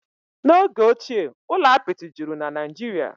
N'oge ochie, ụlọ apịtị juru na Naịjirịa